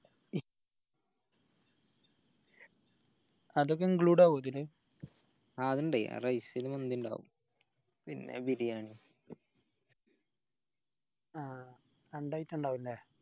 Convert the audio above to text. അതിണ്ട് അതൊക്കെ include ആവോ ഇതില് ആഹ് അതിണ്ട് ആ rice ൽ മാന്തി ഇണ്ടാവു പിന്നെ biriyani ആഹ് രണ്ട് item ഇണ്ടാവു അല്ലെ